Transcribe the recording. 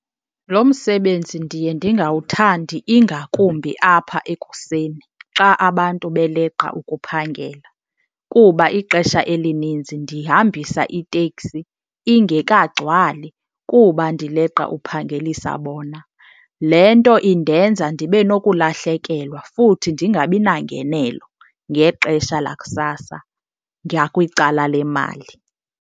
Lo msebenzi ndiye ndingawuthandi ingakumbi apha ekuseni xa abantu beleqa ukuphangela, kuba ixesha elininzi ndihambisa iteksi ingekagcwali kuba ndileqa uphangelisa bona. Le nto indenza ndibe nokulahlekelwa futhi ndingabi nangenelo ngexesha lakusasa ngakwicala lemali.